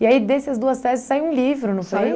E aí, dessas duas teses, saiu um livro, não foi